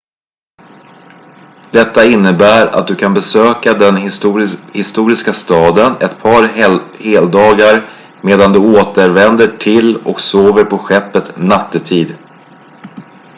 detta innebär att du kan besöka den historiska staden ett par heldagar medan du återvänder till och sover på skeppet nattetid